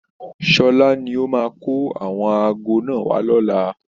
Sọlá ni ó máa kó àwọn aago náà wá lọ́la